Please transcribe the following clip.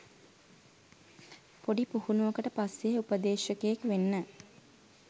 පොඩි පුහුණුවකට පස්සෙ උපදේශකයෙක් වෙන්න